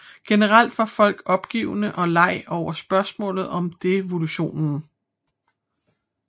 Generelt var folk opgivende og lei over spørgsmålet om devolusion